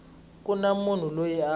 ku na munhu loyi a